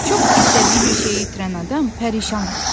Çox istədiyi bir şeyi itirən adam pərişan olur.